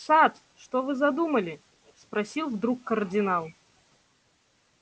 сатт что вы задумали спросил вдруг кардинал